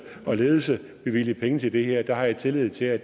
og ledelse bevilge penge til det her det har jeg tillid til at